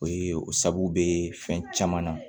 O ye o sababu be fɛn caman na